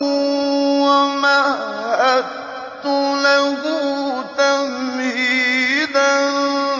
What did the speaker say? وَمَهَّدتُّ لَهُ تَمْهِيدًا